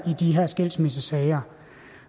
de her skilsmissesager